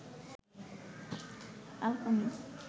Al Koni